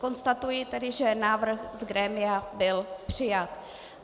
Konstatuji tedy, že návrh z grémia byl přijat.